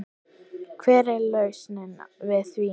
Hver er lausnin við því?